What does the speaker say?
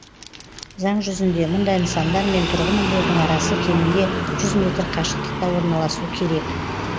заң жүзінде мұндай нысандар мен тұрғын үйлердің арасы кемінде жүз метр қашықтықта орналасу керек